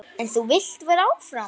En þú vilt vera áfram?